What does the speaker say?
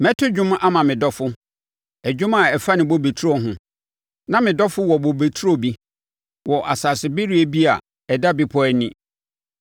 Mɛto dwom ama me dɔfo ɛdwom a ɛfa ne bobe turo ho: Na me dɔfo wɔ bobe turo bi wɔ asasebereɛ bi a ɛda bepɔ ani.